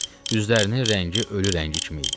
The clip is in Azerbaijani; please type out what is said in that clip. Üzlərinin rəngi ölü rəngi kimi idi.